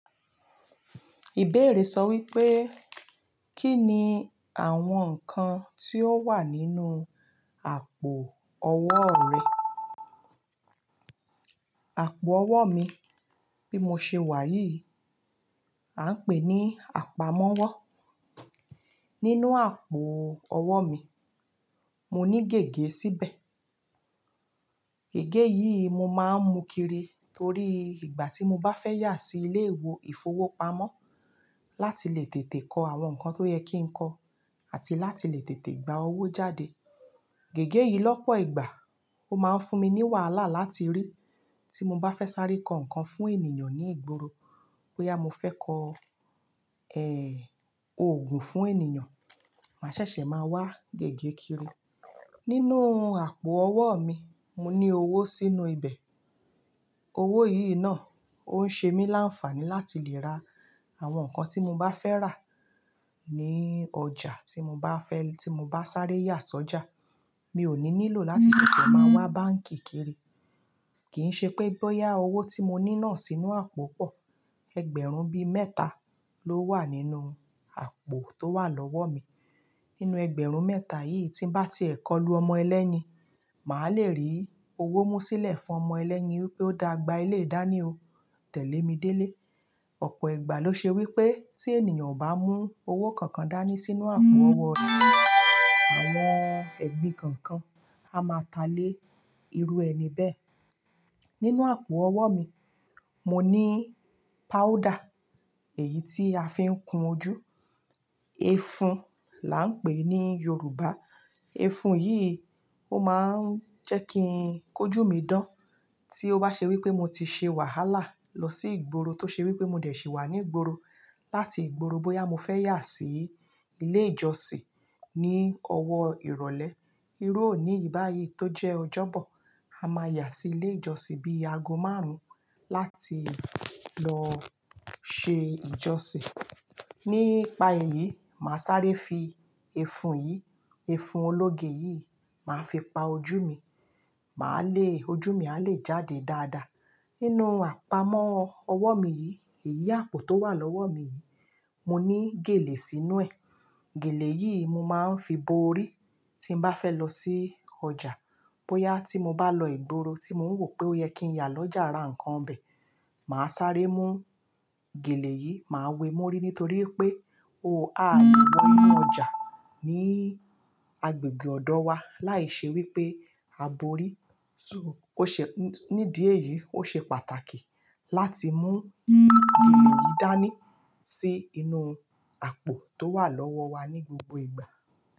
Ìbéèrè sọ wípé, kí ni àwọn nǹkan tí ó wà nínú àpò ọwọ́o rẹ? Àpò ọwọ́ mi bí mo ṣe wà yìí, à ń pè ní àpamọ́wọ́. Nínú àpò ọwọ́ mi, mo ní gègé síbẹ̀. Gègé yìí mo máa ń mú kiri torí ìgbà tí mo bá fẹ́ yà sí ilé ìwò ìfowópamọ́ láti lè tètè kọ àwọn nǹkan tó yẹ kí n kọ àti láti lè tètè gba owó jáde. Gègé yìí lọ́pọ̀ ìgbà ó máa ń fún mi ní wàhálà láti rí tí mo bá fẹ́ sáré kọ nǹkan fún ènìyàn ní ìgboro. Bóyá mo fẹ́ kọ, ẹ́e, òògùn fún ènìyàn, mà ṣẹ̀ṣẹ̀ máa wá gègé kiri. Nínú àpò ọwọ́ mi, mo ní owó sínú ibẹ̀. Owó yìí náà ó ń ṣe mí láǹfààní láti lè ra àwọn nǹkan tí mo bá fẹ́ rà ní ọjà tí mo bá fẹ́-- tí mo bá sáré yà sọ́jà. Mi ò ní lílò láti ṣẹ̀ṣẹ̀ máa wá báǹkì kiri. Kìí ṣe pé bóyá owó tí mo ní náà sínú àpò pọ̀. Egberun bi mẹ́ta ló wà nínú àpò tó wà lọ́wọ́ mi. Nínú ẹgbẹ̀rún mẹ́ta yìí tí n bá ti è kọlu ọmọ ẹlẹ́yin, màá lè rí owó mú sílẹ̀ fún ọmọ ẹlẹ́yin wipe ó dà gbà éleyii dání o, tẹ̀lé mi délé. Ọ̀pọ̀ ìgbà ló ṣe wípé tí ènìyàn ò bá mú owó kankan dání sínú àpò ọwọ́ rẹ̀, àwọn ẹgbin kankan á máa ta lé irú ẹni bẹ́ẹ̀. Nínú àpò ọwọ́ mi, mo ní powder, èyí tí a fi ń kun ojú, ẹfun là ń pè ní Yorùbá. Ẹfun yìí ó máa ń jẹ́ kí n kójú mi dán tí ó bá ṣe wípé mo ti ṣe wàhálà lọ sí ìgboro tó ṣe wípé mo dẹ̀ sì wà ní ìgboro. Láti ìgboro bóyá mo fẹ́ yà sí ilé ìjọsìn ní ọwọ́ ìrọ̀lẹ́. Irú òní yii báyìí tó jẹ́ ọjọ́bọ̀, a máa yà sí ilé ìjọsìn bí aago márùn-ún láti lọ ṣe ìjọsìn. Nípa èyí, màá sáré fi ẹfun yìí, ẹfun ológe yìí, màá fi pa ojú mi, màá le-- ojú mi a lè jáde dáadáa. Nínú àpamọ́ ọwọ́ mi yìí, èyí àpò tó wà lọ́wọ́ mi yìí, mo ní gèlè sínú ẹ̀. Gèlè yìí mo máa ń fi bo orí tí n bá fẹ́ lọ sí ọjà. Bóyá tí mo bá lọ ìgboro tí mò ń wò pé ó yẹ kí n yà lọ́jà ra nǹkan bè, màá sáré mú gèlè yìí, màá we mó orí nítorí pé o, aà le wọ inú ọjà ní agbègbè ọ̀dọ̀ wa láì ṣe wípé a bo orí. So, ó ṣe-- nídi èyí ó ṣe pàtàkì láti mú gele gèlè yìí dání sí inú àpò tó wà lọ́wọ́ wa ní gbogbo ìgbà.